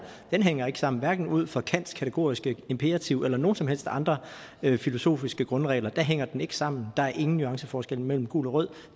hænger ikke sammen hverken ud fra kants kategoriske imperativ eller nogen som helst andre filosofiske grundregler hænger den ikke sammen der er ingen nuanceforskel mellem gul og rød